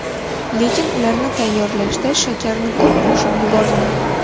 Lekin ularni tayyorlashda shakarni ko‘p qo‘shib yubormang.